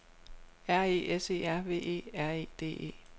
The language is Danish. R E S E R V E R E D E